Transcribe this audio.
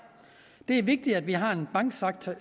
det er vigtigt at vi har en banksektor